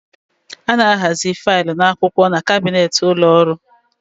A na ahazi filu na akwụkwọ n'kabnet n'ụlọ ọrụ